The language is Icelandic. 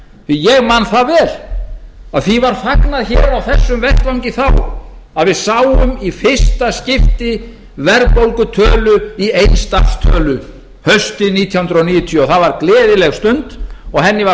ég man það vel að því var fagnað hér á þessum vettvangi þá að við sáum í fyrsta skipti verðbólgutölu í eins stafs tölu haustið nítján hundruð níutíu og það var gleðileg stund og henni var